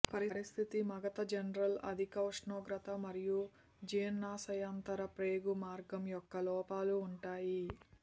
పరిస్థితి మగత జనరల్ అధిక ఉష్ణోగ్రత మరియు జీర్ణశయాంతర ప్రేగు మార్గం యొక్క లోపాలు ఉంటాయి